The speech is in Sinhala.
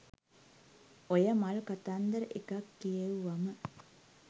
ඔය මල් කතන්දර එකක් කියෙව්වම